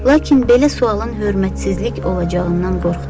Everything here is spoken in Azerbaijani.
Lakin belə sualın hörmətsizlik olacağından qorxdu.